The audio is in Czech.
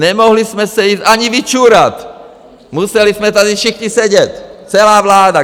Nemohli jsme se jít ani vyčůrat, museli jsme tady všichni sedět, celá vláda.